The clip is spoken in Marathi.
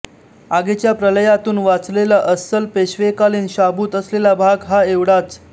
आगीच्या प्रलयातून वाचलेला अस्सल पेशवेकालीन शाबूत असलेला भाग हा एवढाच